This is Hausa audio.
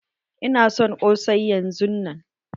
Ina son ƙosai yanzun nan!